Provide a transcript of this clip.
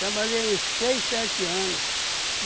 Trabalhei uns seis, sete anos.